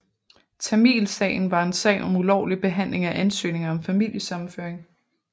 Tamilsagen var en sag om ulovlig behanding af ansøgninger om familiesammenføring